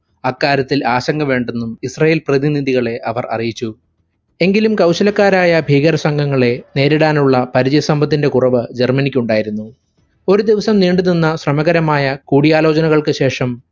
അക്കാര്യത്തിൽ ആശങ്ക വേണ്ടെന്നും israel പ്രതിനിധികളെ അവർ അറിയിച്ചു. എങ്കിലും കൗശലക്കാരായ ഭീകര സംഘങ്ങളെ നേരിടാനുള്ള പരിചയ സമ്പത്തിന്റെ കുറവ് ജർമനിക്കുണ്ടായിരുന്നു. ഒരു ദിവസം നീണ്ടു നിന്ന സമകാരമായ കൂടിയാലോചനകൾക്ക് ശേഷം